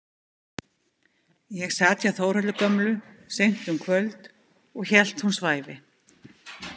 Ég sat hjá Þórhöllu gömlu seint um kvöld og hélt hún svæfi.